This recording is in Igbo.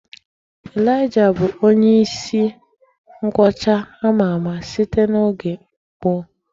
Elijah bụ onye isi nkwọcha ama ama, site n'oge gboo.